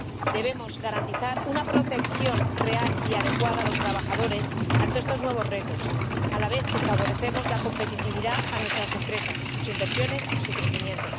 Debemos garantizar una protección real y adecuada a los trabajadores ante estos nuevos retos, a la vez que favorecemos la competitividad de nuestras empresas, sus inversiones y su crecimiento.